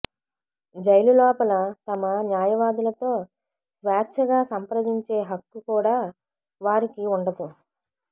jail లోపల తమ న్యాయవాదులతో స్వేచ్ఛగా సంప్రదించే హక్కు కూడా వారికి ఉండదు